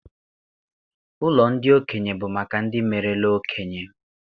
Ụlọ ndị okenye bụ maka ndị merela okenye.